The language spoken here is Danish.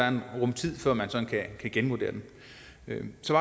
en rum tid før man sådan kan genvurdere bilen så